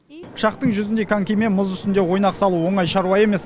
пышақтың жүзіндей конькимен мұз үстінде ойнақ салу оңай шаруа емес